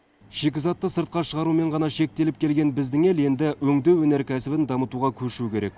шикізатты сыртқа шығарумен ғана шектеліп келген біздің ел енді өңдеу өнеркәсібін дамытуға көшу керек